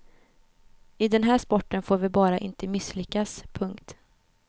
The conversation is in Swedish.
I den här sporten får vi bara inte misslyckas. punkt